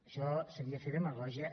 això seria fer demagògia